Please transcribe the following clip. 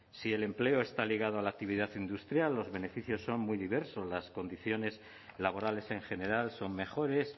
si el empleo está ligado a la actividad industrial los beneficios son muy diversos las condiciones laborales en general son mejores